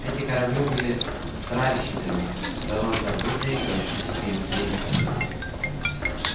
эти корабли были тральщиками давно забытой галактической империи